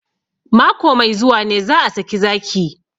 Mako mai zuwa ne za a saki zaki